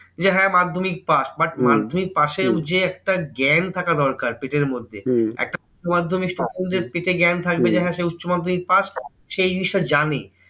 যে হ্যাঁ মাধ্যমিক pass but মাধ্যমিক pass এর যে একটা জ্ঞান থাকা দরকার পেটের মধ্যে, একটা উচ্চমাধ্যমিক পেটে জ্ঞান থাকবে যে হ্যাঁ সে উচ্চমাধ্যমিক pass সে এই জিনিসটা জানে।